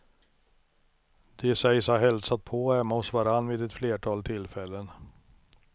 De sägs ha hälsat på hemma hos varann vid ett flertal tillfällen.